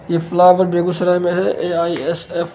ये फ्लवार बेगूसराय में है | है। ए.आइ.एस.एफ़ --